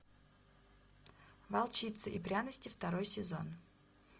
волчица и пряности второй сезон